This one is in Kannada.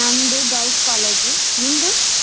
ನಮ್ದು girls college ನಿಮ್ದು?